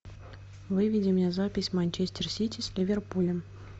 выведи мне запись манчестер сити с ливерпулем